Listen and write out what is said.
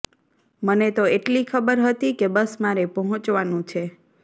મને તો એટલી ખબર હતી કે બસ મારે પહોંચવાનું છે